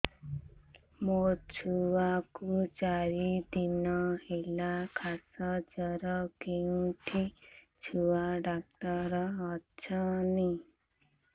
ମୋ ଛୁଆ କୁ ଚାରି ଦିନ ହେଲା ଖାସ ଜର କେଉଁଠି ଛୁଆ ଡାକ୍ତର ଵସ୍ଛନ୍